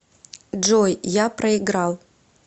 джой я проиграл